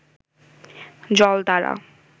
জল দ্বারা